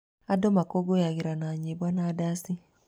Andũ makũngũagĩra na nyĩmbo na ndaci.